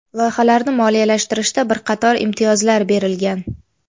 Loyihalarni moliyalashtirishda bir qator imtiyozlar berilgan.